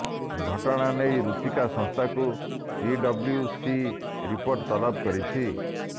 ଘଟଣା ନେଇ ରୁଚିକା ସଂସ୍ଥାକୁ ସିଡବ୍ଲୁସି ରିପୋର୍ଟ ତଲବ କରିଛି